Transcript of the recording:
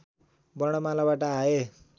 वर्णमालाबाट आए